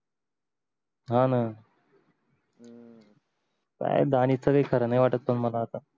हा न काय दानीशच काही खर नाही वाटत पण मला आता